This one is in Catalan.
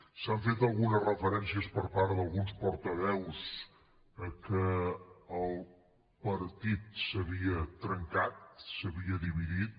s’han fet algunes referències per part d’alguns portaveus que el partit s’havia trencat s’havia dividit